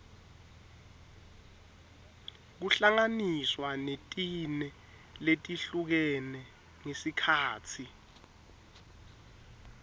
kuhlanganiswa netine letihlukene ngesikhatsi